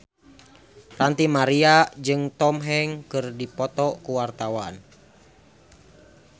Ranty Maria jeung Tom Hanks keur dipoto ku wartawan